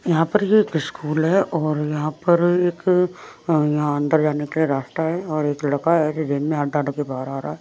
यहाँ पर ये एक स्कूल है और यहाँ पर एक यहाँ अंदर जाने के लिए रास्ता है और एक लड़का है जो जेब में हाथ डाल के बाहर आ रहा है।